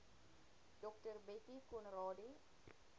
dr bettie conradie